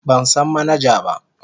Ban san manaja ba.